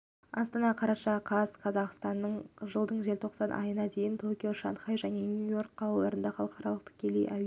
астана қараша қаз қазақстанда жылдың желтоқсан айына дейін токио шанхай және нью-йорк қалаларына халықаралық тікелей әуе